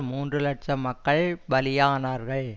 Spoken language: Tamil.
மூன்று இலட்சம் மக்கள் பலியானார்கள்